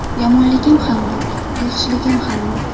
Yomonligim ham yo‘q, yaxshiligim ham yo‘q.